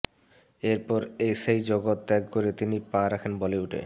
এরপর সেই জগত ত্যাগ করে তিনি পা রাখেন বলিউডে